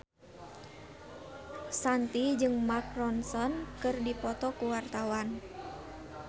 Shanti jeung Mark Ronson keur dipoto ku wartawan